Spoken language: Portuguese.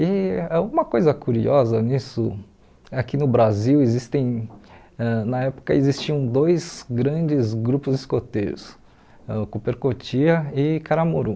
E é uma coisa curiosa nisso, aqui no Brasil, existem ãh na época, existiam dois grandes grupos escoteiros, ãh Cooper Cotia e Karamuru.